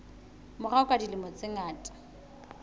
morao ka dilemo tse ngata